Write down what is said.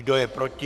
Kdo je proti?